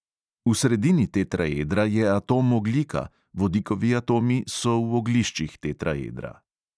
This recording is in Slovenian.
V sredini tetraedra je atom ogljika, vodikovi atomi so v ogliščih tetraedra.